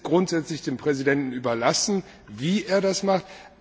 Es ist grundsätzlich dem Präsidenten überlassen, wie er das macht.